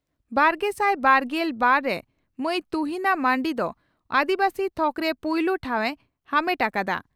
ᱵᱟᱨᱜᱮᱥᱟᱭ ᱵᱟᱨᱜᱮᱞ ᱵᱟᱨ ᱨᱮ ᱢᱟᱹᱭ ᱛᱩᱦᱤᱱᱟ ᱢᱟᱨᱱᱰᱤ ᱫᱚ ᱟᱹᱫᱤᱵᱟᱹᱥᱤ ᱛᱷᱚᱠᱨᱮ ᱯᱩᱭᱞᱩ ᱴᱷᱟᱣ ᱮ ᱟᱢᱮᱴ ᱟᱠᱟᱫᱼᱟ ᱾